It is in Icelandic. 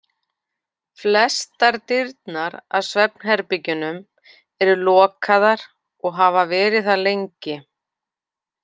Flestar dyrnar að svefnherbergjunum eru lokaðar og hafa verið það lengi.